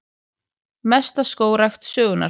Mesta skógrækt sögunnar